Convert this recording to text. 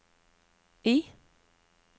I